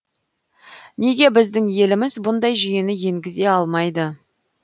неге біздің еліміз бұндай жүйені енгізе алмайды